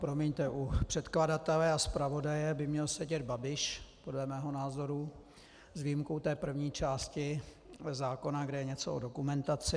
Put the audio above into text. Promiňte, u předkladatele a zpravodaje by měl sedět Babiš podle mého názoru, s výjimkou té první části zákona, kde je něco o dokumentaci.